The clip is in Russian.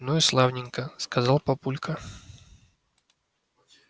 ну и славненько сказал папулька